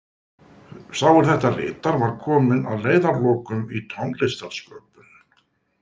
Sá er þetta ritar var kominn að leiðarlokum í tónlistarsköpun.